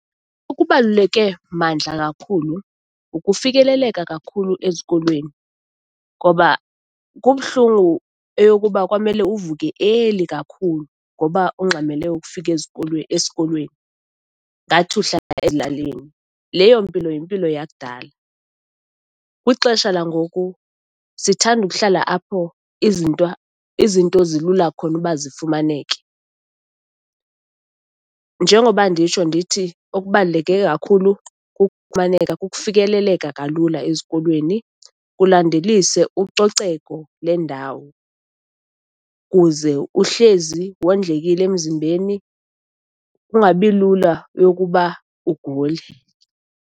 Okubaluleke mandla kakhulu kukufikeleleka kakhulu ezikolweni, ngoba kubuhlungu eyokuba kwamele uvuke early kakhulu ngoba ungxamele ukufika ezikolweni, esikolweni, ingathi uhlala ezilalini. Leyo mpilo yimpilo yakudala. Kwixesha langoku sithanda ukuhlala apho izinto zilula khona uba zifumaneke, njengoba nditsho, ndithi okubaluleke kakhulu kukufumaneka, kukufikeleleka kalula ezikolweni, kulandelise ucoceko lendawo, kuze uhlezi wondlekile emzimbeni, kungabi lula yokuba ugule.